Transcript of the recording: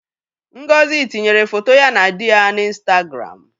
Ngozi tinyere foto ya na di ya n'Ịnstagramụ.